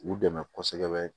U dɛmɛ kosɛbɛ